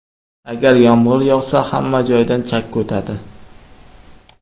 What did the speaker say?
Agar yomg‘ir yog‘sa, hamma joydan chakki o‘tadi.